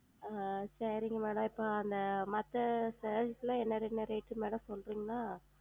ஆஹ் சரிங்க Madam அப்போ அந்த மத்த Sarees லாம் என்ன Rate ன்னு Madam சொல்றீங்களா?